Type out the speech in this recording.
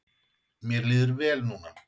Mér líður vel núna.